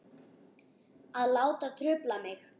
Að láta trufla mig.